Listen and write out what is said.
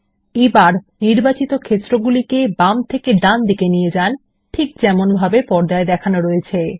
এবার নির্বাচিত ক্ষেত্রগুলিকে বাম থেকে ডানপাশে নিয়ে যান ঠিক যেমনভাবে পর্দায় দেখানো রয়েছে